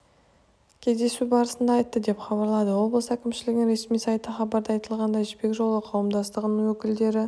кездесу барысында айтты деп хабарлады облыс әкімшілігінің ресми сайты хабарда айтылғандай жібек жолы қауымдастығының өкілдері